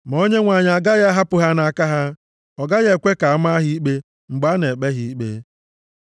ma Onyenwe anyị agaghị ahapụ ha nʼaka ha, ọ gaghị ekwe ka a maa ha ikpe mgbe a na-ekpe ha ikpe.